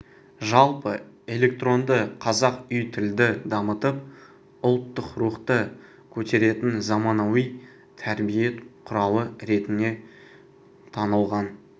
жалпы электронды қазақ үй тілді дамытып ұлттық рухты көтеретін заманауи тәрбие құралы ретінде танылған